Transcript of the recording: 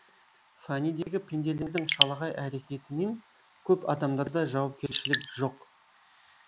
фәнидегі пенделердің шалағай әрекетінен көп адамдарда жауапкершілік жоқ